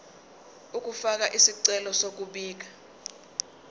ukufaka isicelo sokubika